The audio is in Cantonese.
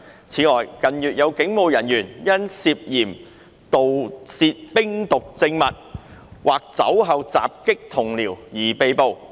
此外，近月有警務人員因涉嫌盜竊冰毒證物或酒後襲擊同僚而被捕。